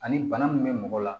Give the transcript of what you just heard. Ani bana min bɛ mɔgɔ la